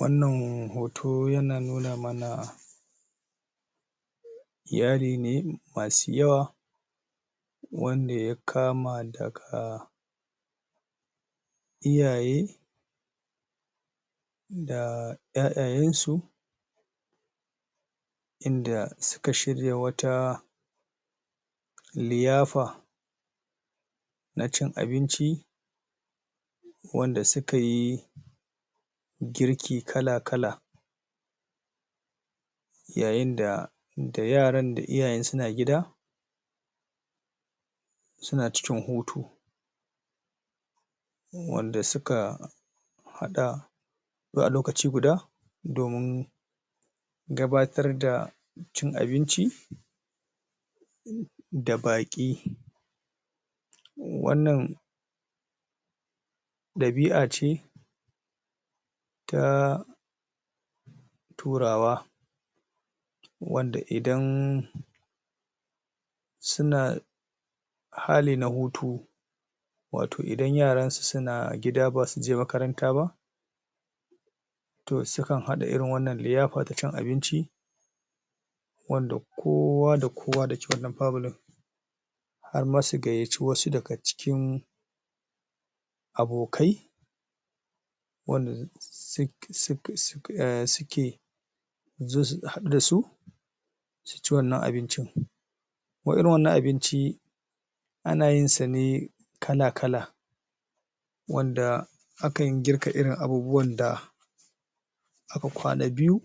Wannan hoto yana nuna mana iyali ne masu yawa wanda ya kama daga iyaye da iyaiya'n su inda suka shirya wata liyafa na cin abinci wanda suka yi girki kala kala yayen da da yaran da iyayen suna gida, suna cikin hutu. wanda suka hada zuwa lokaci guda domin gabatar da cin abinci da baki. Wannan dabi'a ce ta turawa wanda idan suna na hutu wato idan yaransu suna gida basu je makaranta ba, toh sukan hada irin wannan liyafa ta cin abinci wanda kowa da kowa da ke cikin wannan family har ma su gayyaci wasu daga cikin abokai wanda suke hadu da su su ci wannan abincin. Irin wannan abinci ana yin sa ne kala kala wanda akan girka irin abubuwan da aka kwana biyu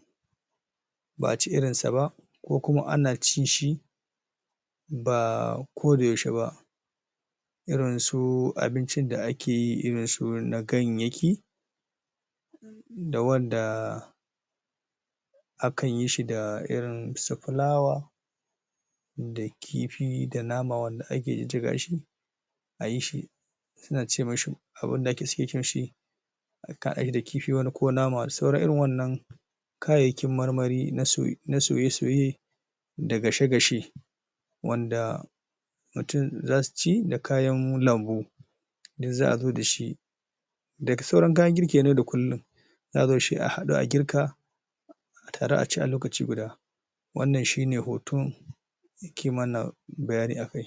ba'a ci irin sa ba ko kuma ana cin shi ba ko da yaushe ba irin su abincin da ake yi, irin su na ganyeki da wanda aka yi shi da su fulawa da kifi da nama wanda ake jijjiga shi a yishi suna ce mishi abun da ake za'a yi da kifi ko wane nama sauran irin wannan kayyayakin marmari na soye-soye da gashe-gashe wanda mutum za su ci da kayan lambu duk za zo da shi daga sauran kayan girki ne da kullum za zo da shi, a hada, a girka a taru a ci a lokaci guda wannan shi ne hoton nake mana bayani a kai.